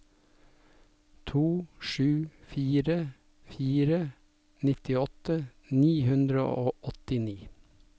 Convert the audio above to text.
to sju fire fire nittiåtte ni hundre og åttini